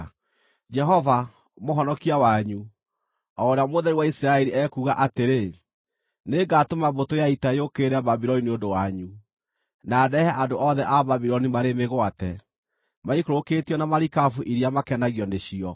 Jehova, Mũhonokia wanyu, o Ũrĩa Mũtheru wa Isiraeli, ekuuga atĩrĩ, “Nĩngatũma mbũtũ ya ita yũkĩrĩre Babuloni nĩ ũndũ wanyu, na ndehe andũ othe a Babuloni marĩ mĩgwate, maikũrũkĩtio na marikabu iria makenagio nĩcio.